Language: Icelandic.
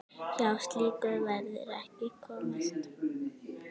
Hjá slíku verður ekki komist.